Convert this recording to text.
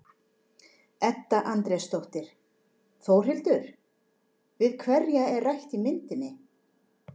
Edda Andrésdóttir: Þórhildur, við hverja er rætt í myndinni?